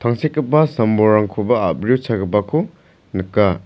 tangsekgipa sam-bolrangkoba a·brio chagipako nika.